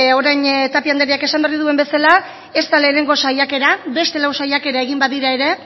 orain tapia andereak esan berri duen bezala ez da lehenengo saiakera beste lau saiakera egin badira ere